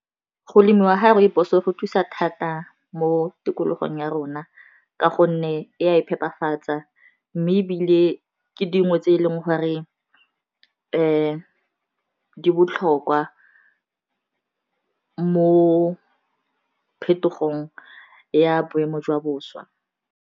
Go lemiwa ga rooibos-o go thusa thata mo tikologong ya rona ka gonne e a e phepafatsa mme e bile ke dingwe tse e leng gore di botlhokwa mo phetogong ya boemo jwa boswa.